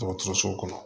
Dɔgɔtɔrɔso kɔnɔ